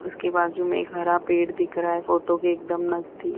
उसके बाजू में एक हरा पेड़ दिख रहा है फोटो के एकदम नजदीक --